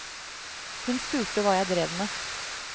Hun spurte hva jeg drev med.